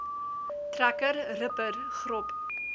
trekker ripper grop